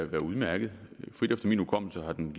være udmærket efter min hukommelse har den